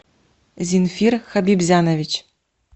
зинфир хабибзянович